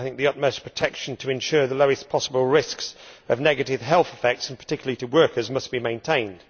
I think the utmost protection to ensure the lowest possible risk of negative health effects, particularly to workers, must be maintained.